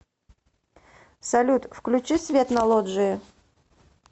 салют включи свет на лоджии